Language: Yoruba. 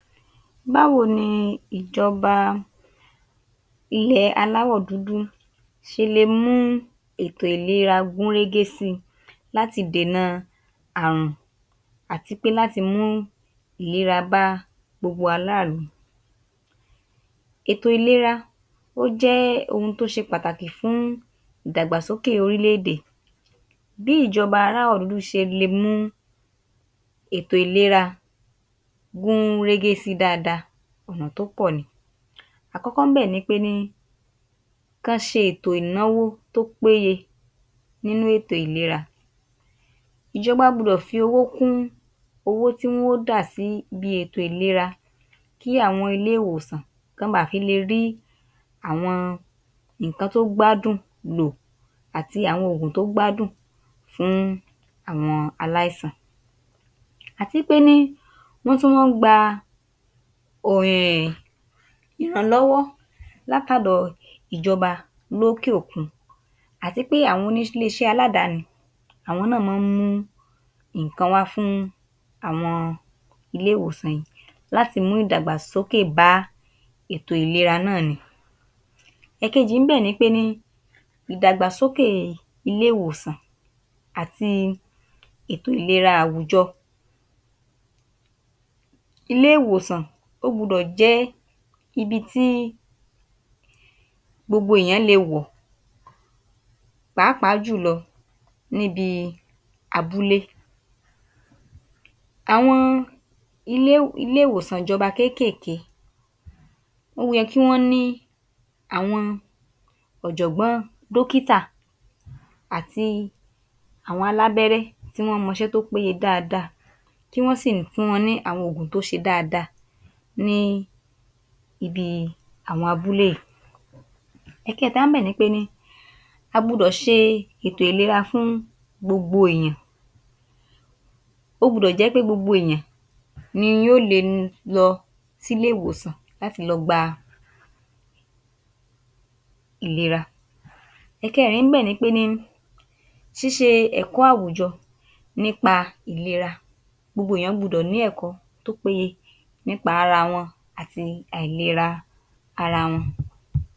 Báwo ni ìjọba ilẹ̀ aláwọ́ dúdú ṣelè mú ètò̀ ìlera gún régé síi láti dènà àrùn àti láti mú ìlera bá gbogbo ará ìlú? Ètò ìlera jẹ́ ohun tó ṣé pàtàkì fún ìdàgbàsókè orílè-èdè. Bí ìjọba ṣe lè mú ètò ìlera gún régé síi, ọ̀nà tí ó pọ̀ ni. Àkọ́kọ́ ńbẹ̀ ni kí wọn ṣètò ìnáwó tó péye fún ètò ìlera. Ìjọba gbúdọ̀ fi owó kuń owó tí wọn yóò dà síbi ètò ìlera kí àwọn ilé-ìwòsàn lè rí àwọn ohun èlò tó péye lo àti ìpèsè àwọn oòguǹ tó péye fún àwọn aláìsàn. Lónà mìíràn, wọ́n lè gba ìrànlọ́wọ́ láti ọ̀dò ìjọba òkè-òkun, àti pé àwọn ilé-iṣé aládàáni náà máa ń pèsè ìrànlọ́wọ́ fún àwọn ilé-ìwòsàn wọ̀nyí láti mú ìdàgbàsókè bá ètò̀ ìlera náà ni. Èkejì níbẹ̀ nipé ìdàgbàsókè ilé ìwòs̀an ̀ati ètò ìlera àwùjọ. Ilé-ìwòsàn gbúdò jẹ́ ibi tí gbogbo ènìyàn lè wò, pàápàá jùlọ níbi abúlé. Àwọn ilé-ìwòsàn ìjọba kéékéékéé yẹ kí wọn ní àwọn ọ̀jọ̀gbọ́n dọ́kítà àti àwọn alábẹ́rẹ́ tí wọ́n mọ ṣẹ́ tó péye dáadáa, kí wọ́n sì fún wọn ní àwọn oògùn tó sׅe dáadáa ní àwọn abúlé wọ̀nyí. Ẹ̀kẹ́ta, a gbúdọ̀ ṣe ètò ìlera fún gbogbo ènìyàn. Ó gbúdọ̀ jẹ́ pé gbogbo ènìyàn ni yóò lè lọ sí ilé-ìwòsàn láti lọ gba ìwòsàn. Ẹ̀kẹ́rin níbẹ̀ ni sׅísׅe ẹ̀kọ́ àwùjọ nípa ètò ìlera. Gbogbo ènìyàn gbúdọ̀ ní ẹ̀kọ́ tó péye nípa ara wọn àti àìlera ara wọn.